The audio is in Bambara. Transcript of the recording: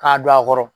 K'a don a kɔrɔ